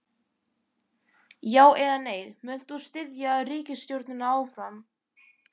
Já, eða nei, munt þú styðja ríkisstjórnina áfram?